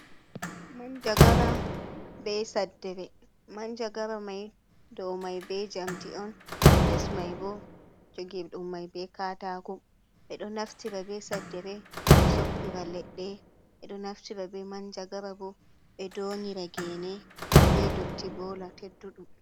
Manjagara be saddere, manjagara mai do mai be njamdi on les mai bo jogi, ɗum mai be katako bedo naftira be saddere ɓe soppira leɗɗe, ɓeɗo naftira be manjagara bo be doŋgira gene be dotti bola tedduɗum.